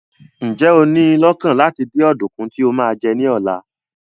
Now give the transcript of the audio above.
Ǹjẹ́ o ní i lọ́kàn láti dín ọ̀dùnkún tí o máa jẹ ní ọ̀la?